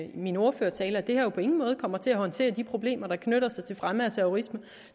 i min ordførertale at det her jo på ingen måde kommer til at håndtere de problemer der knytter sig til fremme af terrorisme